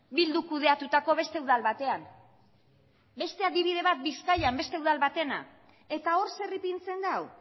bilduk kudeatutako beste udal batean beste adibide bat bizkaian beste udal batena eta hor zer ipintzen du